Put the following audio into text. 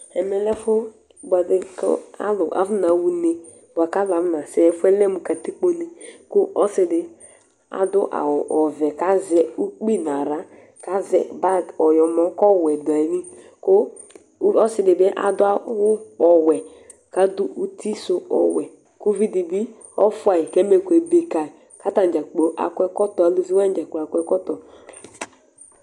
Ɛmɛ lɛ ɛfu buɛ ɖi Ku ãlu afuna ɣa une, buaku ãlu afuna sɛ Ɛfuyɛ lɛ mu katikpóne Ku ɔsiɖi aɖu awu ɔʋɛ, ku azɛ ukpi nu aɣla Ku azɛ bag ɔyɔmɔ, ku ɔwɛ ɖu ayili Ku, ku ɔsiɖi bi aɖu awu ɔwɛ Ku aɖu ũtí su ɔwɛ Ku uʋiɖi bi ɔfua yi Ku ɛmɛku ebe kayi Ku atani dza kplo akɔ ɛkɔtɔ Aluʋi waní dza kplo akɔ ɛkɔtɔ